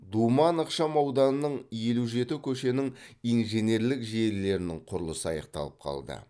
думан ықшамауданың елу жеті көшенің инженерлік желілерінің құрылысы аяқталып қалды